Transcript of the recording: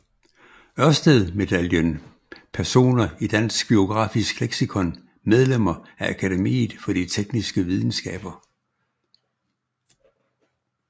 Ørsted Medaljen Personer i Dansk Biografisk Leksikon Medlemmer af Akademiet for de Tekniske Videnskaber